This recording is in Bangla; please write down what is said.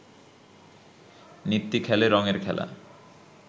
নিত্যি খেলে রঙের খেলা